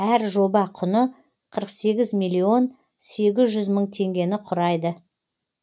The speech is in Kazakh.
әр жоба құны қырық сегіз миллион сегіз жүз мың теңгені құрайды